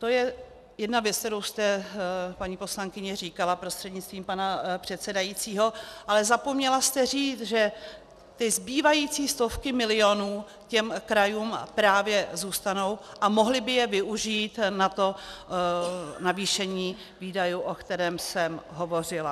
To je jedna věc, kterou jste, paní poslankyně, říkala prostřednictvím pana předsedajícího, ale zapomněla jste říct, že ty zbývající stovky milionů těm krajům právě zůstanou a mohly by je využít na to navýšení výdajů, o kterém jsem hovořila.